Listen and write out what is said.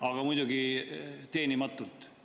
Aga muidugi teenimatult.